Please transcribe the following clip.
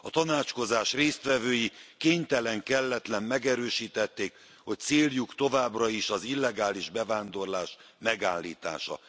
A tanácskozás résztvevői kénytelen kelletlen megerősítették, hogy céljuk továbbra is az illegális bevándorlás megállítása.